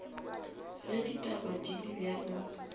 ge ditaba di le bjalo